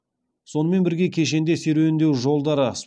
сонымен бірге кешенде серуендеу жолдары